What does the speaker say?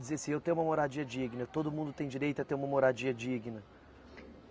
dizer assim eu tenho uma moradia digna, todo mundo tem direito a ter uma moradia digna.